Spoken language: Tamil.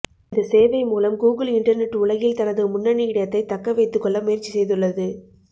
இந்த சேவை மூலம் கூகுல் இண்டெர்நெட் உலகில் தனது முன்னணி இடத்தை தக்க வைத்துக்கொள்ள முயற்சி செய்துள்ளது